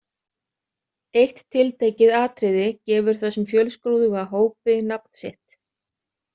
Eitt tiltekið atriði gefur þessum fjölskrúðuga hópi nafn sitt.